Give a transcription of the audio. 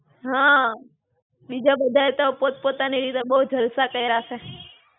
હાં, બીજા બધાએ તો પોત પોતાની રીતે બહું જલસા કયરા છે.